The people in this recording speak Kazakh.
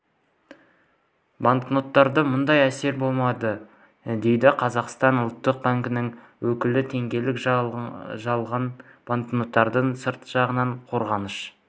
банкноттарда мұндай әсер болмайды деді қазақстан ұлттық банкінің өкілі теңгелік жалған банкноттарда сырт жағынан қорғаныш